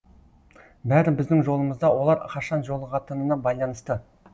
бәрі біздің жолымызда олар қашан жолығатынына байланысты